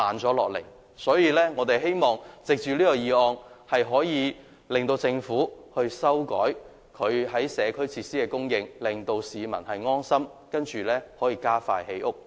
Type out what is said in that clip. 所以，我們希望通過這項議案，令政府改變社區設施的供應，令市民安心，然後加快建屋。